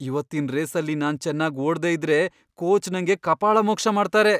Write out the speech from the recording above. ಇವತ್ತಿನ್ ರೇಸಲ್ಲಿ ನಾನ್ ಚೆನ್ನಾಗ್ ಓಡ್ದೇ ಇದ್ರೆ ಕೋಚ್ ನಂಗೆ ಕಪಾಳಮೋಕ್ಷ ಮಾಡ್ತಾರೆ.